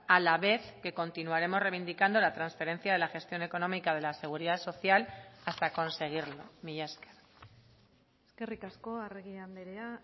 a la vez que continuaremos reivindicando la transferencia de la gestión económica de la seguridad social hasta conseguirlo mila esker eskerrik asko arregi andrea